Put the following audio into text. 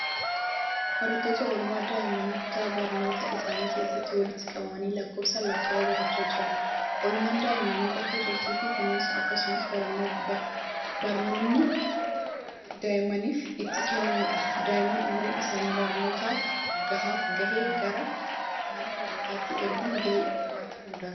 Barattoota oolmaa daa'immanii kutaa barnootaa isaanii keessatti walitti qabamanii lakkoofsa lakkaa'uu barachaa jiran. Oolmaan daa'immanii bakka turtii fi kunuunsa akkasumas barnoonni daa'immaniif itti kennamudha. Daa'imman umuriin isaanii barnoota kanaaf gahe gara mana barnootaatti erguun gahee maatii hundaati.